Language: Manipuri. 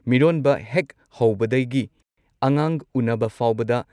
ꯃꯤꯔꯣꯟꯕ ꯍꯦꯛ ꯍꯧꯕꯗꯒꯤ ꯑꯉꯥꯡ ꯎꯟꯅꯕ ꯐꯥꯎꯕꯗ